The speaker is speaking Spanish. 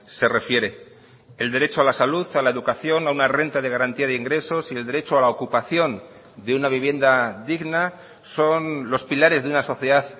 se refiere el derecho a la salud a la educación a una renta de garantía de ingresos y el derecho a la ocupación de unavivienda digna son los pilares de una sociedad